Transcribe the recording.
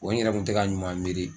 n yɛrɛ kun tɛ ka ɲuman miiri